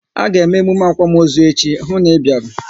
A ga eme emume akwamozu echi, hụ na ị bịara!